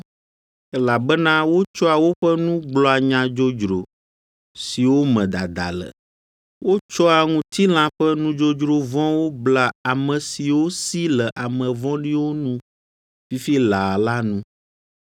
Elabena wotsɔa woƒe nu gblɔa nya dzodzro, siwo me dada le, wotsɔa ŋutilã ƒe nudzodzro vɔ̃wo blea ame siwo si le ame vɔ̃ɖiwo nu fifi laa la nu.